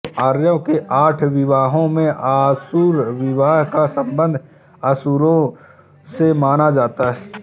आर्यों के आठ विवाहों में आसुर विवाह का संबंध असुरों से माना जाता है